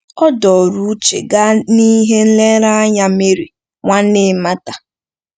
Ọ dọọrọ uche gaa n'ihe nlereanya Meri, nwanne Mata.